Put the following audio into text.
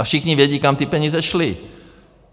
A všichni vědí, kam ty peníze šly.